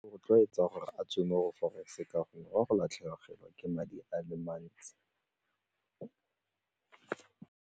Rotloetsa gore a tswe mo go forex ka gore o a go latlhegelwa ke madi a le mantsi.